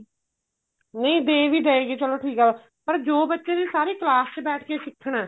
ਨਹੀਂ ਦੇ ਵੀ ਦੇਗੀ ਚਲੋ ਠੀਕ ਏ ਪਰ ਜੋ ਬੱਚੇ ਨੇ ਸਾਰੇ ਕਲਾਸ ਚ ਬੈਠ ਕੇ ਸਿੱਖਣਾ